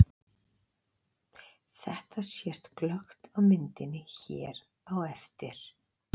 Þetta sést glöggt á myndinni hér á eftir.